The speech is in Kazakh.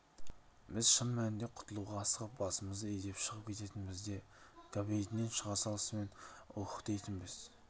біз шын мәнінде құтылуға асығып басымызды изеп шығып кететінбіз де кабинетінен шыға салысымен уууһһһ дейтінбіз